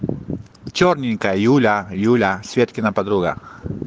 чёрненькая юля юля светкина подруга